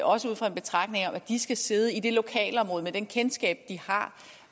også ud fra en betragtning om at de skal sidde i det lokalområde med det kendskab de har